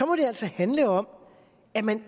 må det altså handle om at man